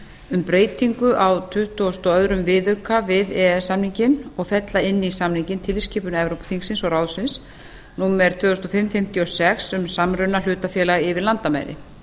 um breytingu á tuttugustu og öðrum viðauka við e e s samninginn og og fella inn í samninginn tilskipun evrópuþingsins og ráðsins tvö þúsund og fimm fimmtíu og sex e b um samruna hlutafélaga yfir landamæri